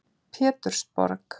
Pétursborg